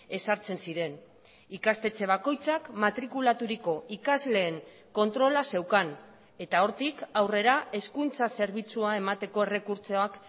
ezartzen ziren ikastetxe bakoitzak matrikulaturiko ikasleen kontrola zeukan eta hortik aurrera hezkuntza zerbitzua emateko errekurtsoak